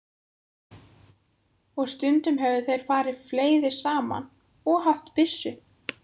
Og stundum höfðu þeir farið fleiri saman og haft byssu.